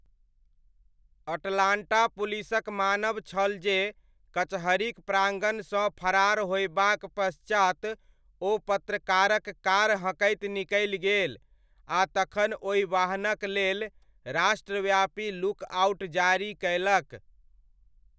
Atlanta पुलिसक मानब छल जे कचहरीक प्राङ्गणसँ फरार होयबाक पश्चात ओ पत्रकारक कार हँकैत निकलि गेल, आ तखन ओहि वाहनक लेल राष्ट्रव्यापी 'लुक आउट' जारी कयलक।